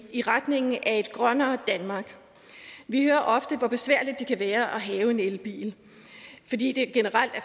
i retningen af et grønnere danmark vi hører ofte hvor besværligt det kan være at have en elbil fordi der generelt er